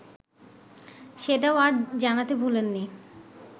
সেটাও আজ জানাতে ভোলেননি